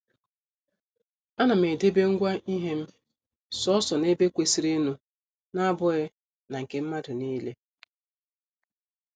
A nam edebe ngwa ihem, soso n' ebe kwesịrịnụ n' abụghị na nke mmadụ niile.